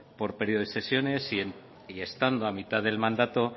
por periodo de sesiones y estando a mitad del mandato